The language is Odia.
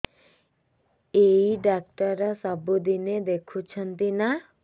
ଏଇ ଡ଼ାକ୍ତର ସବୁଦିନେ ଦେଖୁଛନ୍ତି ନା